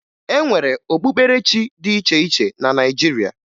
E nwere okpukperechi dị iche iche na Naịjirịa